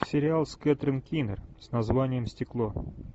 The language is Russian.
сериал с кэтрин кинер с названием стекло